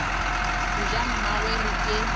ga ja mmagwe re ke